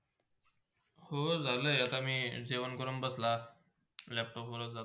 हो, झालाय आता मी जेवण करून बसला. Laptop वर.